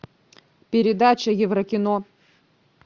передача еврокино